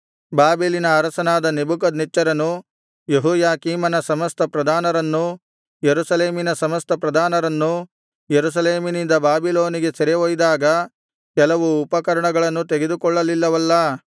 ಬಾಬೆಲಿನ ಅರಸನಾದ ನೆಬೂಕದ್ನೆಚ್ಚರನು ಯೆಹೋಯಾಕೀಮನ ಸಮಸ್ತ ಪ್ರಧಾನರನ್ನೂ ಯೆರೂಸಲೇಮಿನ ಸಮಸ್ತ ಪ್ರಧಾನರನ್ನೂ ಯೆರೂಸಲೇಮಿನಿಂದ ಬಾಬಿಲೋನಿಗೆ ಸೆರೆ ಒಯ್ದಾಗ ಕೆಲವು ಉಪಕರಣಗಳನ್ನು ತೆಗೆದುಕೊಳ್ಳಲಿಲ್ಲವಲ್ಲಾ